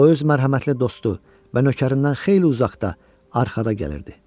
O öz mərhəmətli dostu və nökərindən xeyli uzaqda arxada gəlirdi.